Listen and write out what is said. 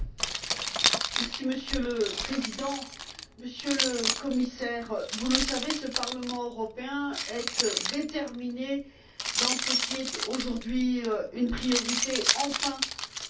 Monsieur le Président, Monsieur le Commissaire, vous le savez, ce Parlement européen est déterminé par rapport à ce qui est, aujourd'hui enfin, une priorité de l'Union européenne.